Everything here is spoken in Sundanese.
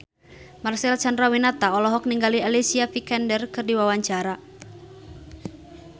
Marcel Chandrawinata olohok ningali Alicia Vikander keur diwawancara